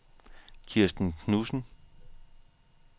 Kirsten Knudsen